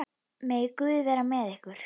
Megi Guð vera með ykkur.